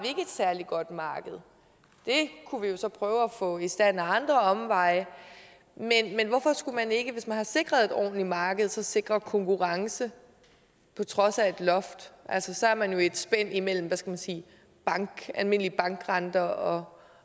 særlig godt marked det kunne vi jo så prøve at få i stand ad omveje men hvorfor skulle man ikke hvis man har sikret et ordentlig marked så sikre konkurrence på trods af et loft altså så er man jo i et spænd imellem hvad skal man sige almindelige bankrenter og